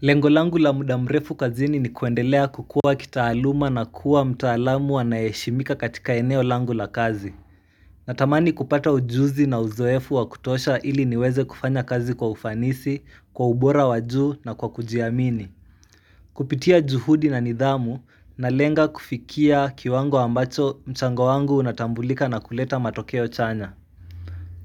Lengo langu la muda mrefu kazini ni kuendelea kukua kitaaluma na kuwa mtaalamu anaye heshimika katika eneo langu la kazi Natamani kupata ujuzi na uzoefu wa kutosha ili niweze kufanya kazi kwa ufanisi, kwa ubora wa juu na kwa kujiamini Kupitia juhudi na nidhamu na lenga kufikia kiwango ambacho mchango wangu unatambulika na kuleta matokeo chanya